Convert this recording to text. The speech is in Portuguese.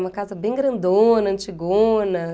Uma casa bem grandona, antigona.